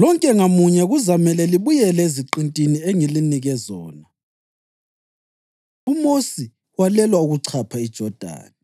lonke ngamunye kuzamele libuyele eziqintini engilinike zona.’ ” UMosi Walelwa Ukuchapha IJodani